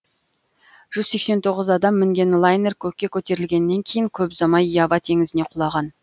жүз сексен тоғыз адам мінген лайнер көкке көтерілгеннен кейін көп ұзамай ява теңізіне құлаған